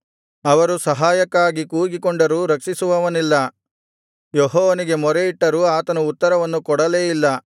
ಅವರು ಸಹಾಯಕ್ಕಾಗಿ ಕೂಗಿಕೊಂಡರೂ ರಕ್ಷಿಸುವವನಿಲ್ಲ ಯೆಹೋವನಿಗೆ ಮೊರೆಯಿಟ್ಟರೂ ಆತನು ಉತ್ತರವನ್ನು ಕೊಡಲೇ ಇಲ್ಲ